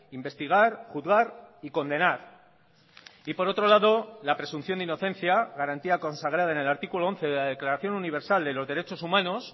investigar juzgar y condenar y por otro lado la presunción de inocencia garantía consagrada en el artículo once de la declaración universal de los derechos humanos